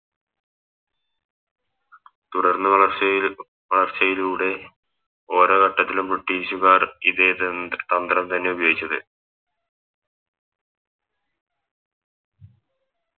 തുടർന്ന് വളർച്ചയിൽ വളർച്ചയുടെ ഓരോ ഘട്ടത്തിലും ബ്രിട്ടീഷുകാർ ഇതേ തെന്ത് തന്ത്രം തന്നെ ഉപയോഗിച്ചത്